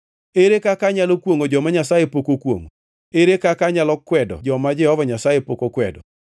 Ere kaka anyalo kwongʼo joma Nyasaye pok okwongʼo? Ere kaka anyalo kwedo joma Jehova Nyasaye pok okwedo?